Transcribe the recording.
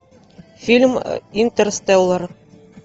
фильм интерстеллар